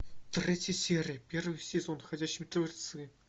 третья серия первый сезон ходячие мертвецы